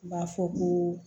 U b'a fɔ ko